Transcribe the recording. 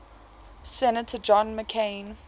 senator john mccain